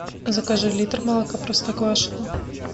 закажи литр молока простоквашино